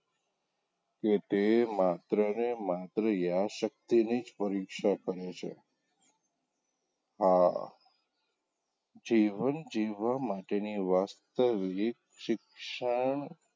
કે તે માત્ર ને માત્ર યાદશક્તિની જ પરીક્ષા કરે છે આ જીવન જીવવાં માટેની વાસ્તવિક શિક્ષણ,